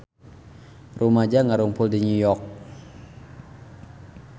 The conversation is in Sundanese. Rumaja ngarumpul di New York